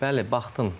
Bəli, baxdım.